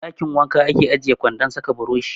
A ɗakin wanka ake ajiye kwandon sa ka burushi.